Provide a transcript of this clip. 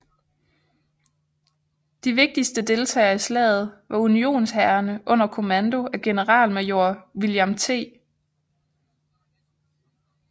De vigtigste deltagere i slaget var unionshærene under kommando af generalmajor William T